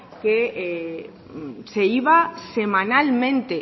que se iba semanalmente